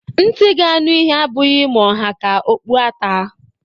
Ntị ga-anụ ihe abụghị ma ọ ha ka okpu ata